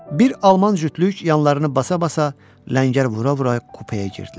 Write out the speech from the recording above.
Bir Alman cütlük yanlarını basa-basa ləngər vura-vura kupaya girdilər.